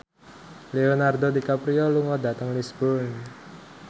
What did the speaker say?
Leonardo DiCaprio lunga dhateng Lisburn